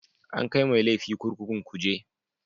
An kai mai laifi kurkukun kuje